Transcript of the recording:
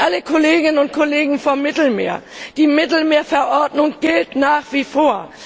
An alle Kolleginnen und Kollegen vom Mittelmeer Die Mittelmeerverordnung gilt nach wie vor.